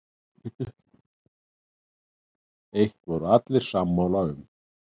Eitt voru allir sammála um.